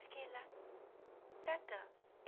Fiquei lá, tratando.